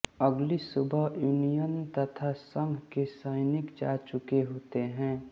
अगली सुबह यूनियन तथा संघ के सैनिक जा चुके होते हैं